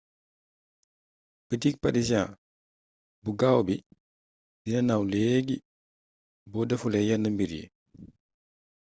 bitik parisians bu gaaw bi dina naaw léégi boo défulé yénn mbir yi